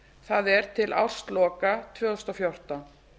það er til ársloka tvö þúsund og fjórtán